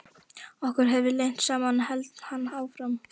Okkur hefði lent saman hélt hann áfram.